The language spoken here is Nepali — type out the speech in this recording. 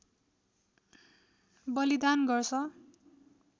बलिदान गर्छ